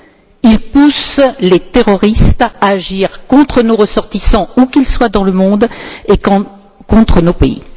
Il pousse les terroristes à agir contre nos ressortissants où qu'ils soient dans le monde et contre nos pays.